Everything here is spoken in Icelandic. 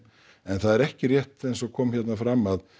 en það er ekki rétt eins og kom hérna fram að